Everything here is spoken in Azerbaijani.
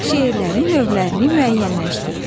Şeirlərin növlərini müəyyənləşdir.